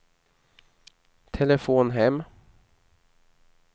telefon hem